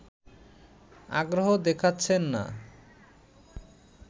আগ্রহ দেখাচ্ছেন না